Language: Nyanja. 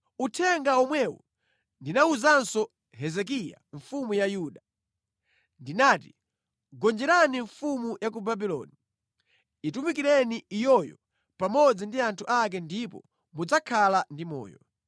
Uthenga womwewu ndinawuzanso Hezekiya mfumu ya Yuda. Ndinati, “Gonjerani mfumu ya ku Babuloni. Itumikireni iyoyo pamodzi ndi anthu ake ndipo mudzakhala ndi moyo.